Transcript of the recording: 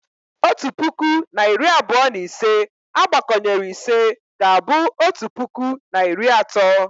Otu puku na iri abụọ na ise agbakọnyere ise ga-abụ otu puku na iri atọ